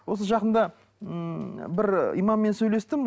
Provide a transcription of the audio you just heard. осы жақында м бір имаммен сөйлестім